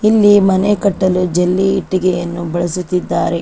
ಇಲ್ಲಿ ಮನೆ ಕಟ್ಟಲು ಜಲ್ಲಿ ಇಟ್ಟಿಗೆಯನ್ನು ಬಳಸುತ್ತಿದ್ದಾರೆ.